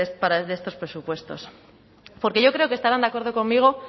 para estos presupuestos porque yo creo que estarán de acuerdo conmigo